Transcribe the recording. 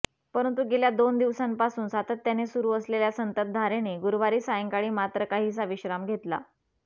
परंतु गेल्या दोन दिवसांपासून सातत्याने सुरु असलेल्या संततधारेने गुरुवारी सायंकाळी मात्र काहीसा विश्राम घेतला